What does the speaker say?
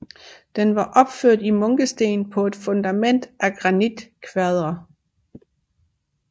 Den var opført i munkesten på et fundament af granitkvadre